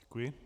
Děkuji.